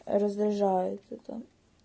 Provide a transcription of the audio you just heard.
разряжает там